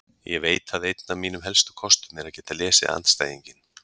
Ég veit að einn af mínum helstu kostum er að geta lesið andstæðinginn.